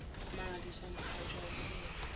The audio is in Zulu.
smangaliswa mkhatshwa wamukela